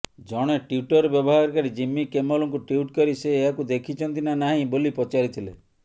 ଜଣେ ଟ୍ବିଟର ବ୍ୟବହାରକାରୀ ଜିମ୍ମୀ କିମେଲଙ୍କୁ ଟ୍ବିଟ୍ କରି ସେ ଏହାକୁ ଦେଖିଛନ୍ତି ନା ନାହିଁ ବୋଲି ପଚାରିଥିଲେ